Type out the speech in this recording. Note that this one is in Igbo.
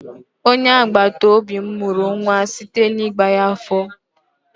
Onye agbataobi m mụrụ nwa site n'ịwa ya afọ.